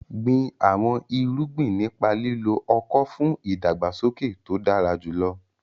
Gbin àwọn irúgbìn nípa lílo ọ̀kọ̀ fún ìdàgbàsókè tó dára jùlọ.